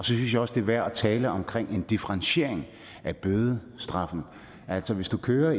synes jeg også det er værd at tale om en differentiering af bødestraffen altså hvis du kører